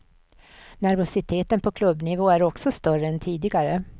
Nervositeten på klubbnivå är också större än tidigare.